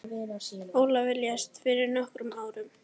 Ólafur lést fyrir nokkrum árum.